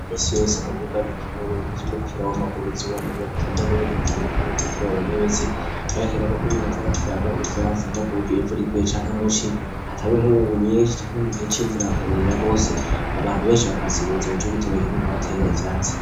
Minsi yose mu bibuga bikenewe vy'umupira w'amaguru n'ivyuwamaboko utambaye n'ibindi bitandukanye vyo kwinonoreramwo imitsi, harakenegwa ko umuntu aza arateramwo ivyatsi nko kuburya imvura iguye canke muci canke mu nkungugu nyinshi no mugihe c'imvura hakanyerera gose abantu benshi bahakasigubuzima nico gituma bakeneye guhatera ivyatsi.